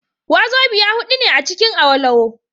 Wazobia hudu ne acikin Awolowo